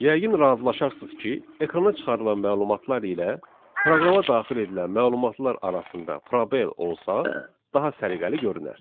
Yəqin razılaşarsınız ki, ekrana çıxarılan məlumatlar ilə proqrama daxil edilən məlumatlar arasında probel olsa, daha səliqəli görünər.